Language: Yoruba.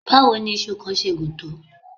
Báwo ni iṣu kan ṣe gùn tó?